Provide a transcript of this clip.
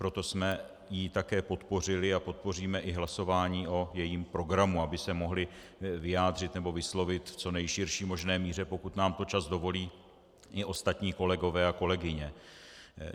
Proto jsme ji také podpořili a podpoříme i hlasování o jejím programu, aby se mohli vyjádřit či vyslovit v co nejširší možné míře, pokud nám to čas dovolí, i ostatní kolegové a kolegyně.